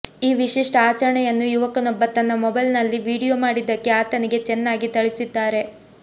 ಈ ವಿಶಿಷ್ಟ ಆಚರಣೆಯನ್ನು ಯುವಕನೊಬ್ಬ ತನ್ನ ಮೊಬೈಲ್ ನಲ್ಲಿ ವಿಡಿಯೋ ಮಾಡಿದ್ದಕ್ಕೆ ಆತನಿಗೆ ಚೆನ್ನಾಗಿ ಥಳಿಸಿದ್ದಾರೆ